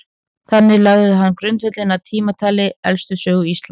þannig lagði hann grundvöllinn að tímatali elstu sögu íslands